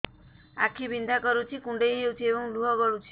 ଆଖି ବିନ୍ଧା କରୁଛି କୁଣ୍ଡେଇ ହେଉଛି ଏବଂ ଲୁହ ଗଳୁଛି